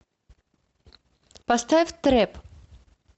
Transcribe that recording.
поставь трэп